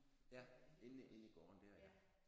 Ja inde i inde i gården der ja